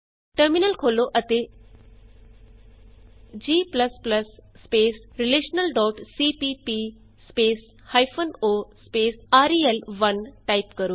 terminal ਖੋਲ੍ਹੋ ਅਤੇ g relationalਸੀਪੀਪੀ o ਰੇਲ1 ਟਾਈਪ ਕਰੋ